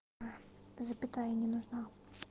аа запятая не нужна